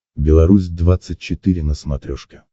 беларусь двадцать четыре на смотрешке